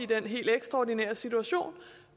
den helt ekstraordinære situation